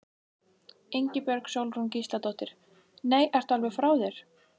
Ingibjörg Sólrún Gísladóttir: Nei, ertu alveg frá þér?